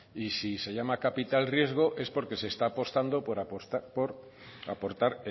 y si se llama capital riesgo es porque se está apostando por aportar